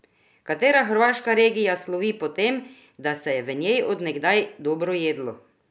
Katera hrvaška regija slovi po tem, da se je v njej od nekdaj dobro jedlo?